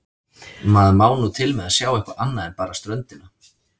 Maður má nú til með að sjá eitthvað annað en bara ströndina.